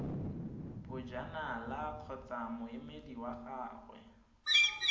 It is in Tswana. bojanala kgotsa moemedi wa gagwe